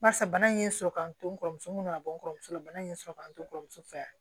Barisa bana in ye n sɔrɔ ka n to n kɔrɔmuso mun ka bɔ n kɔrɔmuso fɛ bana in ye n sɔrɔ k'an to kɔrɔmuso fɛ